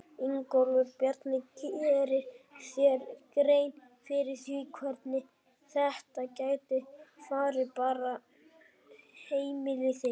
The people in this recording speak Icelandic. Ingólfur Bjarni: Gerirðu þér grein fyrir því hvernig þetta gæti farið bara fyrir heimili þitt?